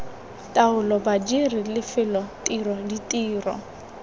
taolo badiri lefelo tiro ditiro